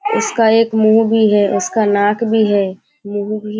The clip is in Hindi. इसका एक मुँह भी है उसका नाक भी है मुँह भी --